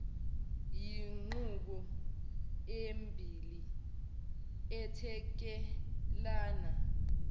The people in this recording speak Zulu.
yinqubo embili ethekelana